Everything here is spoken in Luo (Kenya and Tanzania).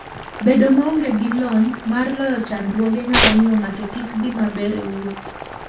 Bedo maonge gi lony mar loyo chandruoge nyalo miyo ng'ato kik dhi maber e wuoth.